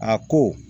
A ko